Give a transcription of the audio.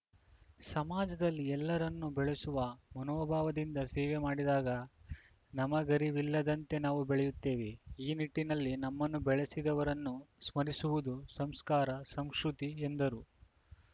ಸಮಾಜದಲ್ಲಿ ಎಲ್ಲರನ್ನೂ ಬೆಳೆಸುವ ಮನೋಭಾವದಿಂದ ಸೇವೆ ಮಾಡಿದಾಗ ನಮಗರಿವಿಲ್ಲದಂತೆ ನಾವು ಬೆಳೆಯುತ್ತೇವೆ ಈ ನಿಟ್ಟಿನಲ್ಲಿ ನಮ್ಮನ್ನು ಬೆಳೆಸಿದವರನ್ನು ಸ್ಮರಿಸುವುದು ಸಂಸ್ಕಾರ ಸಂಶುತಿ ಎಂದರು